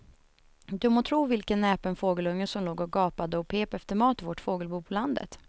Du må tro vilken näpen fågelunge som låg och gapade och pep efter mat i vårt fågelbo på landet.